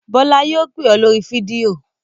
Bọ́lá yóò pè ọ́ lórí fídíò!